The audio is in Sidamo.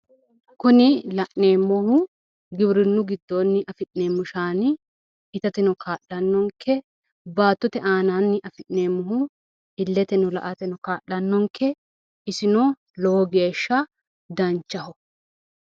Kuni La'neemmohu giwirinnu giddoonni afi'neemmohu shaani itateno kaa'lannonke baattote aanaanni afi'neemmohu illeteno la"ate kaa'lannonke isino lowo geeshsha danchaho.